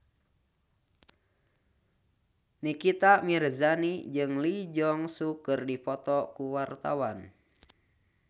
Nikita Mirzani jeung Lee Jeong Suk keur dipoto ku wartawan